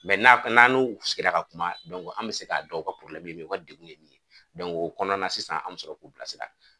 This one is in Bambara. n'an n'a n'u sigira ka kuma, an mi se ka dɔn u ka ye mun u ka degun ye mun ye, o kɔnɔna sisan an bi sɔrɔ k'u bila sira